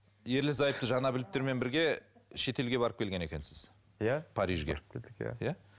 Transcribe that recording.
ерлі зайыпты жанәбіловтермен бірге шетелге барып келген екенсіз иә парижге барып келдік иә иә